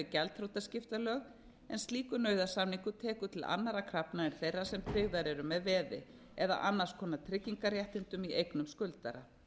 gjaldþrotaskiptalög en slíkur nauðasamningur tekur til annarra krafna en þeirra sem tryggðar eru með veði eða annars konar tryggingarréttindum í eignum skuldara